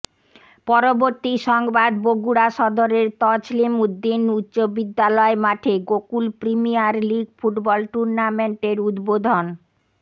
পরবর্তী সংবাদ বগুড়া সদরের তছলিম উদ্দিন উচ্চ বিদ্যালয় মাঠে গোকুল প্রিমিয়ার লীগ ফুটবল টুর্ণামেন্টের উদ্বোধন